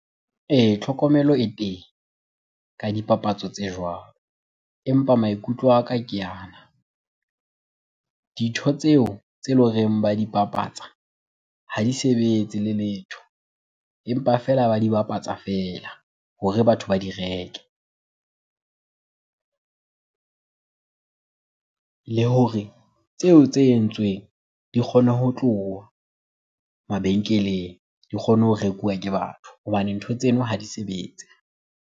Tlhokomelo e teng ka dipapatso tse jwalo empa maikutlo a ka ke ana. Dintho tseo tse le horeng ba di bapatsa ha di sebetse le letho. Empa feela ba di bapatsa fela hore batho ba di reke. Le hore tseo tse entsweng di kgone ho tloha mabenkeleng, di kgone ho rekuwa ke batho hobane ntho tseno ha di sebetse.